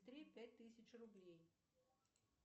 три пять тысяч рублей